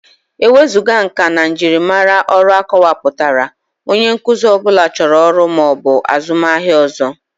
Ewezuga nka na njirimara ọrụ akọwapụtara, onye nkuzi ọ bụla chọrọ ọrụ ma ọ bụ azụmaahịa ọzọ.